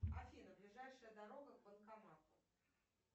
афина ближайшая дорога к банкомату